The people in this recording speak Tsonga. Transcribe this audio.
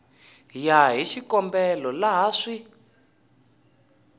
ya hi xikombelo laha swi